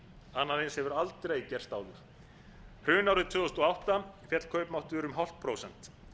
annað eins hefur aldrei gerst áður hrunárið tvö þúsund og átta féll kaupmáttur um hálft prósent